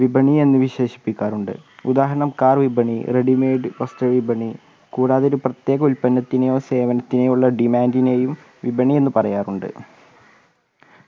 വിപണി എന്ന് വിശേഷിപ്പിക്കാറുണ്ട് ഉദാഹരണം car വിപണി readymade വസ്‌ത്ര വിപണി കൂടാതെ ഒരു പ്രത്യേക ഉൽപന്നത്തിനോ സേവനത്തിനോ ഉള്ള demand നേയും വിപണി എന്ന് പറയാറുണ്ട്